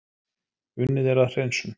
Unnið er að hreinsun